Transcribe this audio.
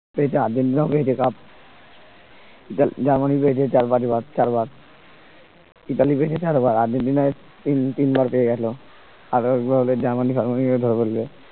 Argentina ও পেয়েছে cup Germany পেয়েছে চার পাঁচ বার চার বার ইতালি পেয়েছে চারবার আর্জেন্টিনায় এই নিয়ে তিনবার পেয়ে গেল আরো একবার হলে জার্মানি ফারমানি